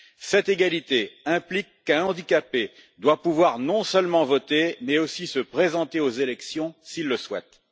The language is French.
Cette égalité implique qu'un handicapé doive pouvoir, non seulement voter, mais aussi se présenter aux élections, s'il le souhaite.